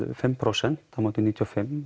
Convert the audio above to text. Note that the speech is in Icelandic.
fimm prósent á móti níutíu og fimm